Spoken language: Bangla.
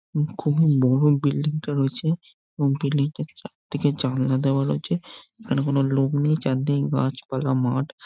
খুবই বড় বিল্ডিং -টা রয়েছে। বিল্ডিংটার চারিদিকে জানলা দেওয়া রয়েছে। এইখানে কোনো লোক নেই চারদিক গাছপালা মাঠ।